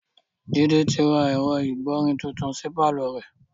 Jide ti ra ẹ̀rọ ìgbọ̀rin titun sí pàlọ́ rẹ̀